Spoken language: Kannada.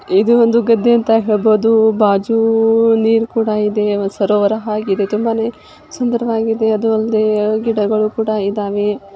ಇದು ಒಂದು ಗದ್ದೆ ಅಂತ ಹೇಳಬಹುದು ಬಾಜು ನೀರು ಕೂಡ ಇದೇ ಸರೋವರ ಹಾಗ ಇದೇ ತುಂಬಾನೇ ಸುಂದರವಾಗಿದೆ ಅದೊಂದು ಗಿಡಗಳು ಕುಡ ಇದ್ದಾವೆ .